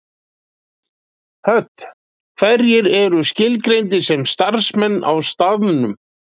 Hödd: Hverjir eru skilgreindir sem starfsmenn á staðnum?